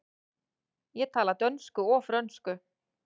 Ég tala dönsku og frönsku.